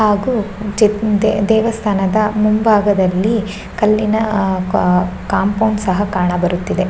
ಹಾಗು ಚಿಪ್ ದೆ ದೇವಸ್ಥಾನದ ಮುಂಬಾಗದಲ್ಲಿ ಕಲ್ಲಿನ ಅಹ್ ಕಾ ಕಾಂಪೌಂಡ್ ಸಹ ಕಾಣಬರುತ್ತಿದೆ.